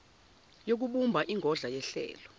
yokubumba ingodla yehlelo